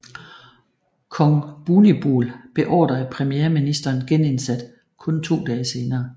Kong Bhumibol beordrede premierministeren genindsat kun to dage senere